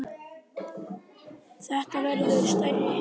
Þetta verður stærri heimur.